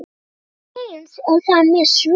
Eins er það með svörin.